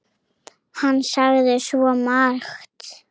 Hann sagði svo margt.